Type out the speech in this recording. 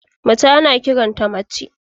Mace ana kiran ta mace.